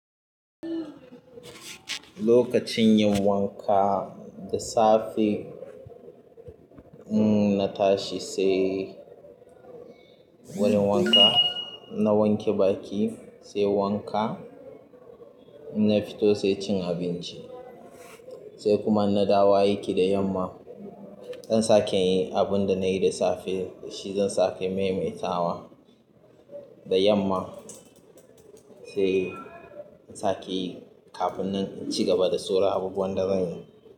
Lokacin yin wanka, da safe mm in na tashi sai wurin wanka, in na wanke baki sai wanka, in na fito sai cin abinci sai kuma in na dawo aiki da yamma. Zan sake in yi abun da nayi da safe shi zan sake maimaita wa da yamma sai in sake yi kafin naci gaba da sauran abubuwan dazan yi.